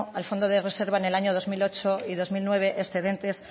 al fondo de reserva en el año dos mil ocho y dos mil nueve excedentes